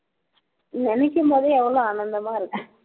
நினைக்கும் போதே எவ்ளோ ஆனந்தமா இருக்கு